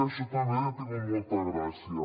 això també ha tingut molta gràcia